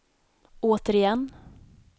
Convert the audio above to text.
återigen